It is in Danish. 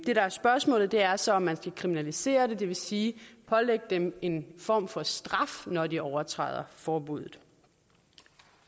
det der er spørgsmålet er så om man skal kriminalisere det det vil sige pålægge dem en form for straf når de overtræder forbuddet